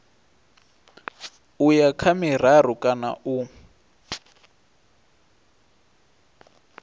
uya kha miraru kana u